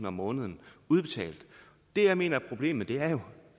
om måneden det jeg mener er problemet er jo